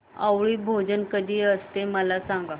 आवळी भोजन कधी असते मला सांग